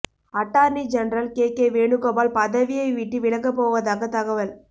attorney general K K Venugopal பதவியை விட்டு விலகப்போவதாக தகவல்